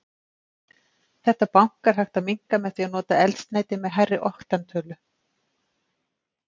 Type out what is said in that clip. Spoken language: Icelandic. Þetta bank er hægt að minnka með því að nota eldsneyti með hærri oktantölu.